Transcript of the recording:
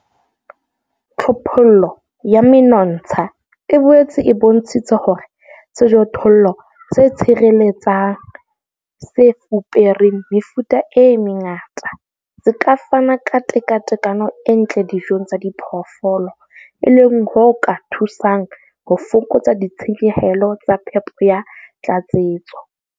Tlhophollo ya menontsha e boetse e bontshitse hore sejothollo se tshireletsang, se fupereng mefuta e mengata, se ka fana ka tekatekano e ntle dijong tsa diphoofolo, e leng ho ka thusang ho fokotsa ditshenyehelo tsa phepo ya tlatsetso.